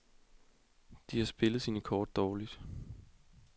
De har spillet sine kort dårligt.